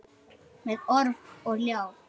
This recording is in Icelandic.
Með orf og ljá.